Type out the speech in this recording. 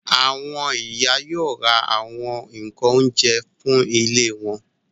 Àwọn ìyá yóò ra àwọn nǹkan oúnjẹ fún ilé wọn.